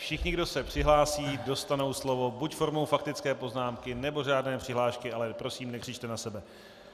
Všichni, kdo se přihlásí, dostanou slovo, buď formou faktické poznámky, nebo řádné přihlášky, ale prosím, nekřičte na sebe.